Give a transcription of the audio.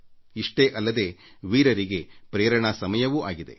ಇಷ್ಟೇ ಅಲ್ಲದೆ ವೀರ ಹೃದಯಗಳಿಗೆ ಪ್ರೇರಣೆಯ ಸಮಯವೂ ಆಗಿದೆ